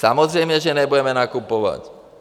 Samozřejmě že nebudeme nakupovat.